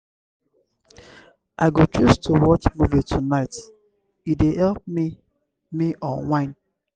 i go choose to watch movie tonight; e dey help me me unwind.